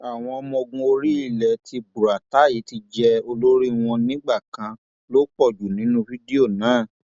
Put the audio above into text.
àwọn ọmọọgùn orí ilẹ tí buratai ti jẹ olórí wọn nígbà kan ló pọ jù nínú fídíò náà